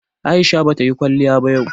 Aisha bata yi kwaliya yau ba